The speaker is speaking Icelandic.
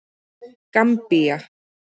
Gambía